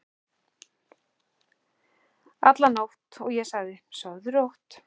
alla nótt, og ég sagði: Sofðu rótt.